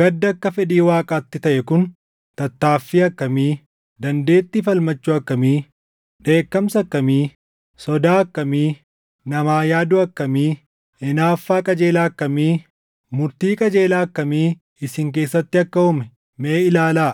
Gaddi akka fedhii Waaqaatti taʼe kun tattaaffii akkamii, dandeettii falmachuu akkamii, dheekkamsa akkamii, sodaa akkamii, namaa yaaduu akkamii, hinaaffaa qajeelaa akkamii, murtii qajeelaa akkamii isin keessatti akka uume mee ilaalaa!